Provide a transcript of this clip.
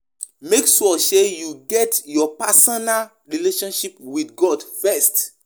Discuss with your religious leaders on matters wey no de clear for your eye